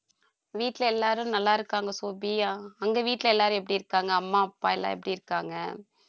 வீட்டுல எல்லாரும் நல்லா இருக்காங்க சோபி அங்க வீட்ல எல்லாரும் எப்படி இருக்காங்க அம்மா அப்பா எல்லாம் எப்படி இருக்காங்க